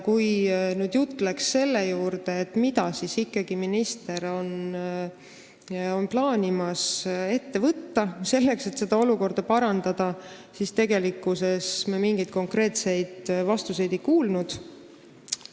Kui jutt läks sellele, mida siis minister ikkagi plaanib ette võtta, selleks et olukorda parandada, siis me mingeid konkreetseid vastuseid ei kuulnud.